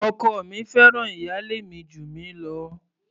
Ọkọ mi fẹ́ràn ìyálé mi jù mí lọ.